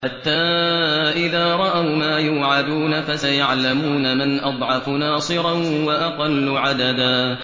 حَتَّىٰ إِذَا رَأَوْا مَا يُوعَدُونَ فَسَيَعْلَمُونَ مَنْ أَضْعَفُ نَاصِرًا وَأَقَلُّ عَدَدًا